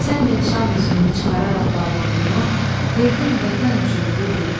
Sən də nişan üzüyünü çıxararaq barmağından, verdin Vətən üçün bu gün.